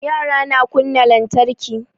Yara na kunna lantarki